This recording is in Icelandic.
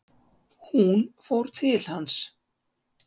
Hún fór til hans.